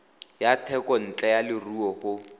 ya thekontle ya leruo go